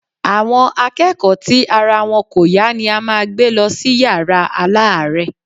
Àwọn akẹ́kọ̀ọ́ tí ara wọn kò yá ni a máa gbé lọ sí yàrá aláàárẹ̀.